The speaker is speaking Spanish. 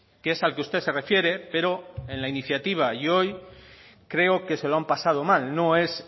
que es al que usted se refiere pero en la iniciativa y hoy creo que se lo han pasado mal no es